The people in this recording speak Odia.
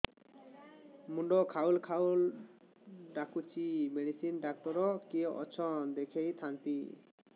ମୁଣ୍ଡ ଖାଉଲ୍ ଖାଉଲ୍ ଡାକୁଚି ମେଡିସିନ ଡାକ୍ତର କିଏ ଅଛନ୍ ଦେଖେଇ ଥାନ୍ତି